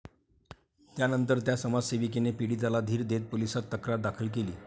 त्यानंतर त्या समाजसेविकेने पीडितेला धीर देत पोलिसात तक्रार दाखल केली.